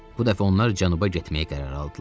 Bu dəfə onlar cənuba getməyə qərar aldılar.